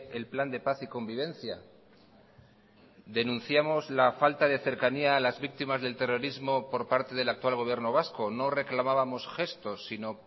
el plan de paz y convivencia denunciamos la falta de cercanía a las víctimas del terrorismo por parte del actual gobierno vasco no reclamábamos gestos sino